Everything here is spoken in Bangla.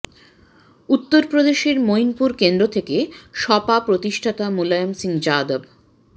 উত্তর প্রদেশের মৈনপুর কেন্দ্র থেকে সপা প্রতিষ্ঠাতা মুলায়ম সিং যাদব